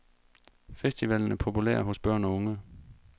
Festivalen er populær hos børn og unge.